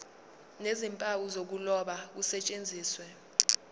nezimpawu zokuloba kusetshenziswe